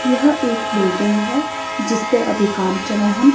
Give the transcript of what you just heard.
यह एक बिल्डिंग है जिसपे अभी काम चला है।